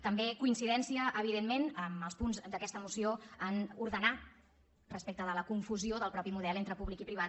també coincidència evidentment en els punts d’aquesta moció a ordenar respecte de la confusió del mateix model entre públic i privat